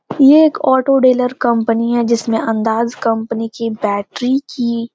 ये एक auto dealer company हैं जिसमें अंदाज कंपनी की बैटरी की --